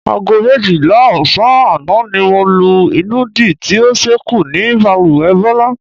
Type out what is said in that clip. Aago méjìlá ò̩sán àná ni mo lo ìnùdí tí ó s̩é̩kù ní balùwè̩ Bó̩lá.